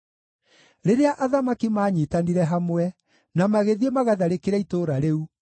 Rĩrĩa athamaki maanyiitanire hamwe na magĩthiĩ magatharĩkĩre itũũra rĩu,